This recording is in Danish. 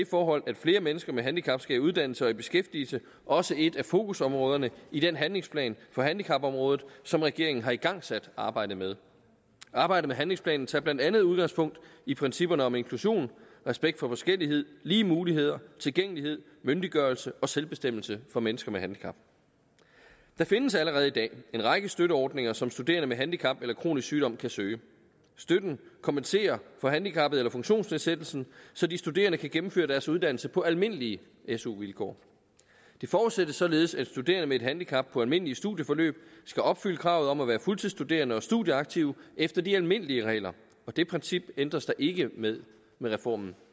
forhold at flere mennesker med handicap skal i uddannelse og i beskæftigelse også et af fokusområderne i den handlingsplan på handicapområdet som regeringen har igangsat arbejdet med arbejdet med handlingsplanen tager blandt andet udgangspunkt i principperne om inklusion respekt for forskellighed lige muligheder tilgængelighed myndiggørelse og selvbestemmelse for mennesker med handicap der findes allerede i dag en række støtteordninger som studerende med handicap eller kronisk sygdom kan søge støtten kompenserer for handicappet eller funktionsnedsættelsen så de studerende kan gennemføre deres uddannelse på almindelige su vilkår det forudsættes således at studerende med et handicap på almindelige studieforløb skal opfylde kravet om at være fuldtidsstuderende og studieaktive efter de almindelige regler og de principper ændres der ikke ved med reformen